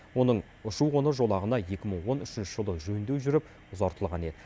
оның ұшу қону жолағына екі мың он үшінші жылы жөндеу жүріп ұзартылған еді